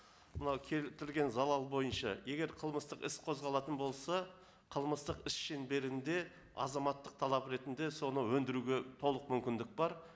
мынау келтірген залал бойынша егер қылмыстық іс қозғалатын болса қылмыстық іс шеңберінде азаматтық талап ретінде соны өндіруге толық мүмкіндік бар